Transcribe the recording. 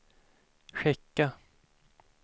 skicka